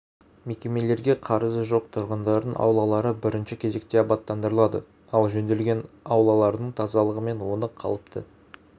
мекемелерге қарызы жоқ тұрғындардың аулалары бірінші кезекте абаттандырылады ал жөнделген аулалардың тазалығы мен оны қалыпты